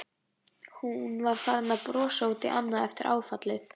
Hún var farin að brosa út í annað eftir áfallið.